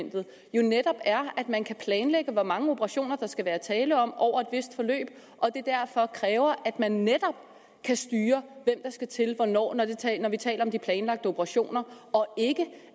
jo netop er at man kan planlægge hvor mange operationer der skal være tale om over et vist forløb og at det derfor kræver at man netop kan styre hvem skal til hvornår når vi taler om de planlagte operationer og ikke